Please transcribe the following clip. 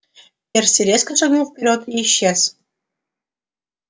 перси резко шагнул вперёд и исчез